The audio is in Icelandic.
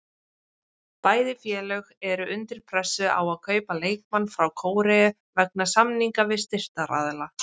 Bæði félög eru undir pressu á að kaupa leikmann frá Kóreu vegna samninga við styrktaraðila.